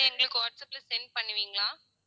எங்களுக்கு வாட்ஸ்ஆப்ல send பண்ணுவீங்களா